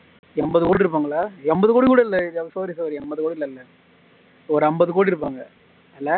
எம்பது கோடி இருப்பாங்களா எம்பது கோடி கூட இல்ல sorry sorry எம்பது கோடிலாம் இல்ல ஒரு அம்பது கோடி இருப்பாங்க